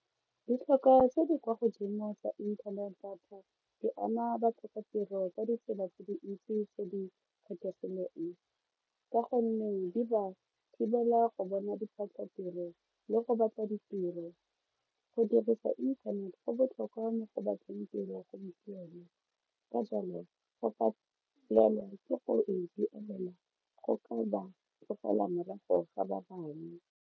Ditlhokwa tse di kwa godimo tsa internet data di ama batlhokatiro ka ditsela tse dintsi tse di kgethegileng ka gonne di ba thibela go bona diphatlatiro le go batla ditiro. Go dirisa inthanete go botlhokwa mo go batleng tiro gompieno ka jalo go ka ke go e duelela go ka ba tlogela morago ga .